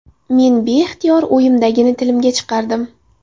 Men beixtiyor o‘yimdagini tilimga chiqardim.